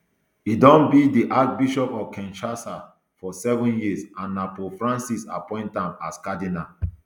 e don be di archbishop of kinshasa for seven years and na pope francis appoint am as cardinal